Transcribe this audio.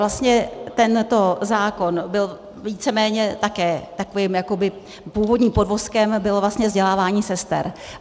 Vlastně tento zákon byl víceméně také takovým jakoby - původním podvozkem bylo vlastně vzdělávání sester.